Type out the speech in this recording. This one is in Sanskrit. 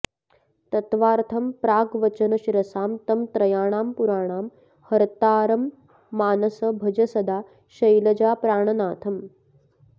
तत्त्वार्थं प्राग्वचनशिरसां तं त्रयाणां पुराणां हर्तारम्मानस भज सदा शैलजाप्राणनाथम्